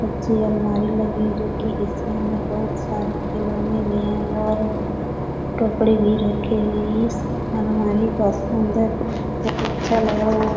अच्छी अलमारी लगी है. जो की इसके अंदर बहुत सारे खिलौने भी है और कपडे भी रखे हुए इस अलमारी का सुन्दर अच्छा लग रहा है ।